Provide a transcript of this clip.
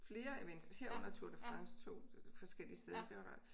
Flere events herunder Tour de France 2 forskellige steder det var